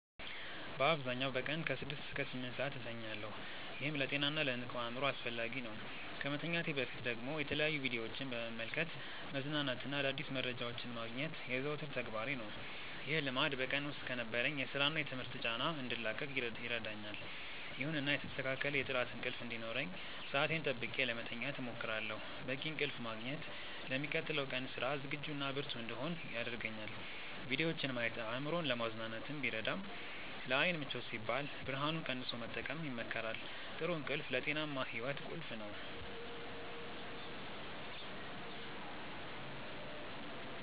በአብዛኛው በቀን ከ6 እስከ 8 ሰዓት እተኛለሁ፤ ይህም ለጤናና ለንቁ አእምሮ አስፈላጊ ነው። ከመተኛቴ በፊት ደግሞ የተለያዩ ቪዲዮዎችን በመመልከት መዝናናትና አዳዲስ መረጃዎችን ማግኘት የዘወትር ተግባሬ ነው። ይህ ልማድ በቀን ውስጥ ከነበረኝ የሥራና የትምህርት ጫና እንድላቀቅ ይረዳኛል። ይሁንና የተስተካከለ የጥራት እንቅልፍ እንዲኖረኝ ሰዓቴን ጠብቄ ለመተኛት እሞክራለሁ። በቂ እንቅልፍ ማግኘት ለሚቀጥለው ቀን ስራ ዝግጁና ብርቱ እንድሆን ያደርገኛል። ቪዲዮዎችን ማየት አእምሮን ለማዝናናት ቢረዳም፣ ለዓይን ምቾት ሲባል ብርሃኑን ቀንሶ መጠቀም ይመከራል። ጥሩ እንቅልፍ ለጤናማ ሕይወት ቁልፍ ነው።